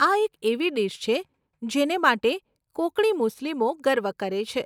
આ એક એવી ડીશ છે, જેને માટે કોંકણી મુસ્લિમો ગર્વ કરે છે.